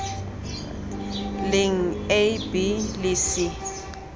leng a b le c